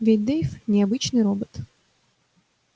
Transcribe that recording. ведь дейв не обычный робот